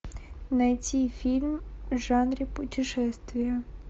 найти фильм в жанре путешествия